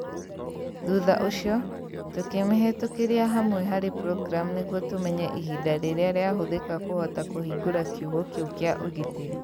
Thutha ũcio, tũkĩmĩhĩtũkĩria hamwe harĩ programu nĩguo tũmenye ihinda rĩrĩa rĩahũthĩka kũhota kũhingũra kiugo kĩu kĩa ũgitĩri.